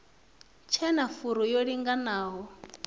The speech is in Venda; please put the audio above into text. tshe na furu yo linganaho